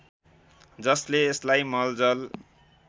जसले यसलाई मलजल